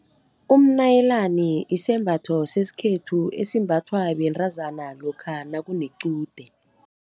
Umnayilani isembatho sesikhethu, esimbathwa bentazana lokha nakunequde.